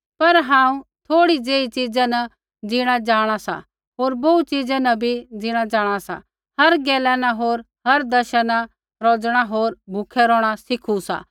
पर हांऊँ थोड़ी ज़ेहि च़ीज़ा न ज़ीणा जाँणा सा होर बोहू च़ीज़ा न बी ज़ीणा जाँणा सा हर गैला न होर हर दशा न रौज़णा होर भूखै रौहणा सिखु सा